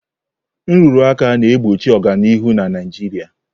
Nrụrụ aka na-egbochi ọganihu na Naijiria.